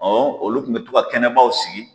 olu kun be to ka kɛnɛbaw sigi